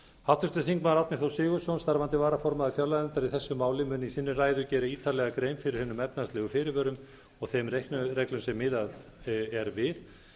háttvirtur þingmaður árni þór sigurðsson starfandi varaformaður fjárlaganefndar í þessu máli mun í sinni ræðu gera ítarlegar grein fyrir hinum efnahagslegu fyrirvörum og þeim reiknireglum sem miðað er við